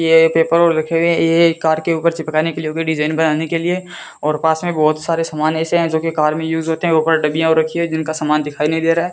ये पेपर और रखे हुए हैं ये कार के ऊपर चिपकाने के लिए डिजाइन बनाने के लिए और पास में बहोत सारे सामान ऐसे हैं जोकि कार में यूज होते हैं ऊपर डब्बियां और रखी हैं जिनका समान दिखाई नहीं दे रहा --